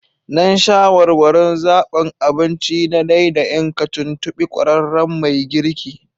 Don shawarwarin zabin abinci na ɗaiɗain ka, tuntuɓi ƙwararren mai girki